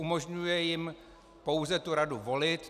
Umožňuje jim pouze tu radu volit.